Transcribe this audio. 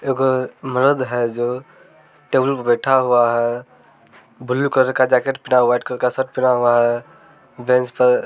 एगो मरद है जो टेबल पर बैठा हुआ है। ब्लू कलर का जैकेट पहना है वाइट कलर का शर्ट पहना हुआ है। बेंच पर --